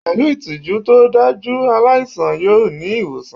Pẹ̀lú ìtọ́jú tó dájú, aláìsàn yọ ní ìwòsàn